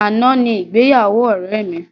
Àná ni ìgbéyàwó ọ̀rẹ́ mi.